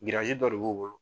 dɔ de bu bolo.